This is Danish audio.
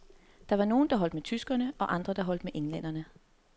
Der var nogle, der holdt med tyskerne og andre, der holdt med englænderne.